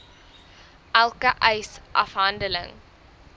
elke eis afhandeling